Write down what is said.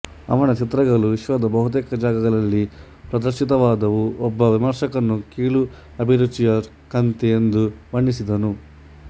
ಅವನ ಚಿತ್ರಗಳು ವಿಶ್ವದ ಬಹತೇಕ ಜಾಗಗಳಲ್ಲಿ ಪ್ರದರ್ಶಿತವಾದವು ಒಬ್ಬ ವಿಮರ್ಶಕನು ಕೀಳು ಅಭಿರುಚಿಯ ಕಂತೆ ಎಂದು ಬಣ್ಣಿಸಿದನು